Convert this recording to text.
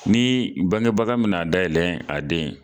Ni bangebaga mina a denn ye